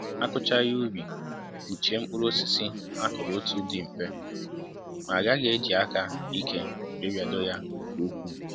akụcha ihe ubi, kpuchie mkpụrụ osisi akuru otu dị mfe ,ma agaghị e ji aka ike wee biado ya nke ukwu